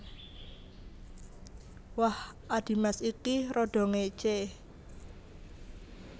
Wah adhimas ki rada ngécé